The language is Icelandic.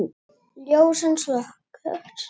Ljósin slökkt.